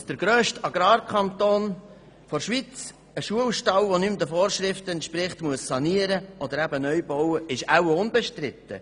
Dass der grösste Agrarkanton der Schweiz einen Schulstall sanieren oder neu bauen muss, wenn er nicht mehr den Vorschriften entspricht, ist wahrscheinlich unbestritten.